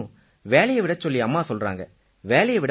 ஆனாலும் வேலையை விடச் சொல்லி அம்மா சொல்றாங்க